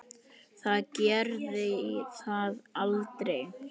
Það gerði það aldrei.